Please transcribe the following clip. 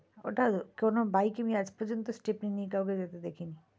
ওটা কোনো bike এ আমি আজ পর্যন্ত stepney নিয়ে কাউকে যেতে দেখি নি,